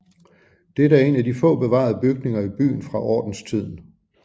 Det er en af de få bevarede bygninger i byen fra ordenstiden